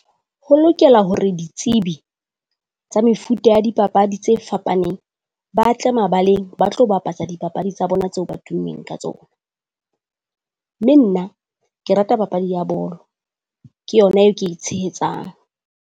Ho lokela hore ditsebi tsa mefuta ya dipapadi tse fapaneng ba tle mabaleng ba tlo bapatsa dipapadi tsa bona tseo ba tummeng ka tsona. Mme nna ke rata papadi ya bolo. Ke yona eo ke e tshehetsang.